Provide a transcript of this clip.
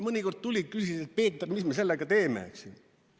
Mõnikord nad tulid ja küsisid, et Peeter, mis me sellega teeme nüüd siin?